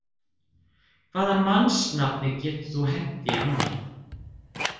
Hvaða mannsnafni getur þú hent í annan?